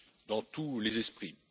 dans tous les esprits.